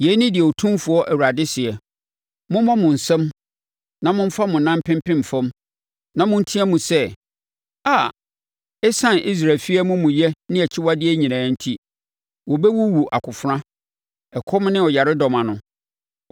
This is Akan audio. “ ‘Yei ne deɛ Otumfoɔ Awurade seɛ: Mommɔ mo nsam na momfa mo nan mpempem fam na monteam sɛ, “A!” Esiane Israel efie amumuyɛ ne akyiwadeɛ nyinaa enti, wɔbɛwuwu akofena, ɛkɔm ne ɔyaredɔm ano.